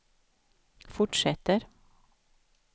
fortsätter